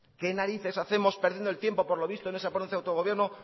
qué narices hacemos perdiendo el tiempo por lo visto en esa ponencia de autogobierno